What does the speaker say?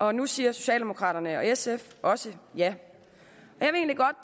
og nu siger socialdemokraterne og sf også ja